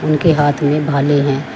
उनके हाथ में भाले हैं।